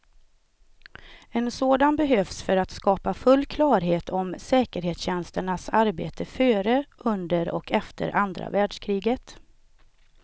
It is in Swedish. En sådan behövs för att skapa full klarhet om säkerhetstjänsternas arbete före, under och efter andra världskriget.